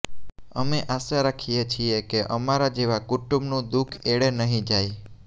અમે આશા રાખીએ છીએ કે અમારા જેવા કુટુંબનું દુઃખ એળે નહીં જાય